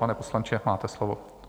Pane poslanče, máte slovo.